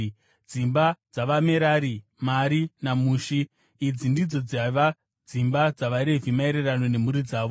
Dzimba dzavaMerari: Mari naMushi. Idzi ndidzo dzaiva dzimba dzavaRevhi maererano nemhuri dzavo.